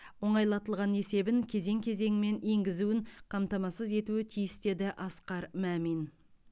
оңайлатылған есебін кезең кезеңімен енгізуін қамтамасыз етуі тиіс деді асқар мамин